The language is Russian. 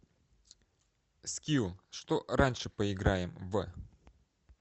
скилл что раньше поиграем в